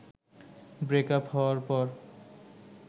breakup হওয়ার পর